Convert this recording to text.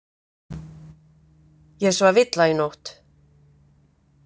Ég svaf illa í nótt.